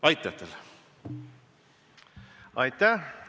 Aitäh!